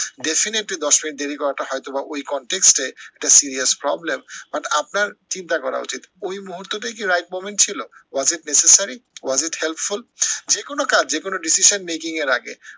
definitely দশ মিনিট দেরি করাটা হয়তো বা ওই context এ একটা serious problem but আপনার চিন্তা করা উচিত, ওই মুহূর্তটাই কি right moment ছিল? was it necessary was it helpful যে কোনো কাজ যে কোনো decision making এর আগে